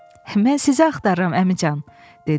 Mən sizə axtarıram əmican, dedi.